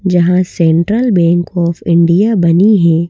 जहाँ central bank of India बनी हैं।